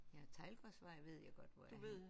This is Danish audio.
Ja Teglgårdsvej ved jeg godt hvor er henne